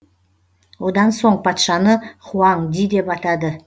одан соң патшаны хуаң ди деп атады